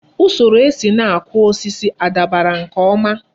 Usoro esi na-akụ osisi a dabara nke ọma?